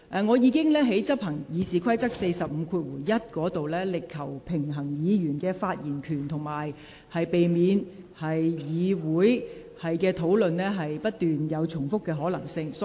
我在執行《議事規則》第451條時，已在維護議員發言權利，以及避免議會討論不斷重複之間求取平衡。